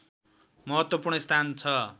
महत्त्वपूर्ण स्थान छ